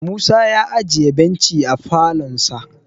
Musa ya ajiye benchi a falonsa